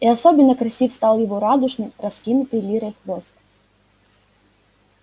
и особенно красив стал его радужный раскинутый лирой хвост